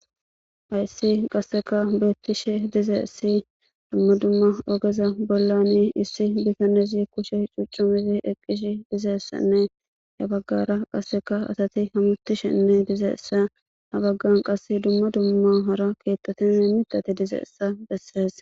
hayssi qasseka beettishe dizeessi dumma dumma ogeza bollani issi bikanezi kushe cuccumizi eqqish dizeessanne ya baggara qasseka asati hamutishenne dizeessa ha baggan qass dumma dumma hara keettotime mitate dizeessa bessees